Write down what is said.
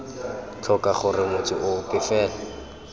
tlhoka gore motho ope fela